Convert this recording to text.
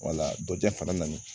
Wala ja fana nani